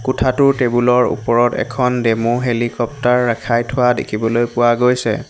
কোঠাটোৰ টেবুল ৰ ওপৰত এখন ডেম' হেলিকপ্টাৰ ৰাখাই থোৱা দেখিবলৈ পোৱা গৈছে।